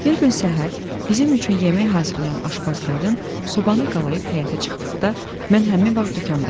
Bir gün səhər bizim üçün yemək hazırlayan aşpaz qadın sobanı qalayib həyətə çıxdıqda, mən həmin vaxt dükanndaydım.